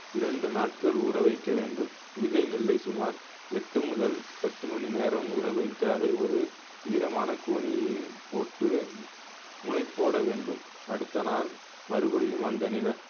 இரண்டு நாட்கள் ஊற வைக்க வேண்டும் விதை நெல்லை சுமார் எட்டு முதல் பத்து மணி நேரம் ஊற வைத்து அதை ஒரு ஈரமான கோணியில் போட்டு முளை போட வேண்டும் அடுத்த நாள் மறுபடியும் அந்த நில